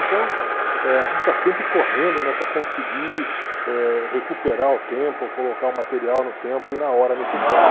Então, eh a gente está sempre correndo, né, para conseguir eh recuperar o tempo, ou colocar o material no tempo e na hora necessária.